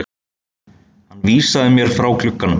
Hann vísaði mér frá glugganum.